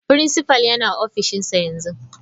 Principal yana ofishinsa yanzu.